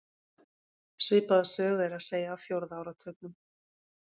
Svipaða sögu er að segja af fjórða áratugnum.